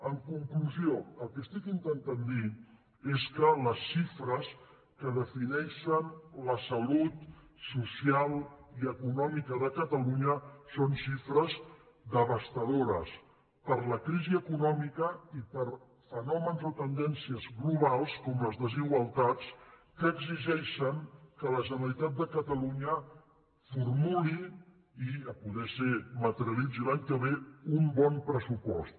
en conclusió el que estic intentant dir és que les xi·fres que defineixen la salut social i econòmica de ca·talunya són xifres devastadores per la crisi econòmica i per fenòmens o tendències globals com les desigual·tats que exigeixen que la generalitat de catalunya formuli i si pot ser materialitzi l’any que ve un bon pressupost